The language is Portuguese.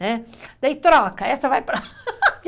Né, daí troca, essa vai para